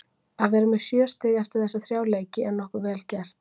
Að vera með sjö stig eftir þessa þrjá leiki er nokkuð vel gert.